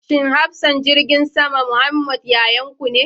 Shin hafsan jirgin sama Muhammed yayanku ne?